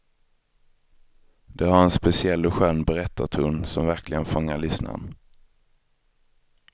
De har en speciell och skön berättarton som verkligen fångar lyssnaren.